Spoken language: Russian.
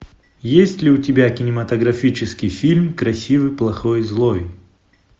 есть ли у тебя кинематографический фильм красивый плохой злой